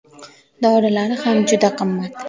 Dorilari ham juda qimmat.